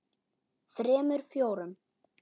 þremur. fjórum.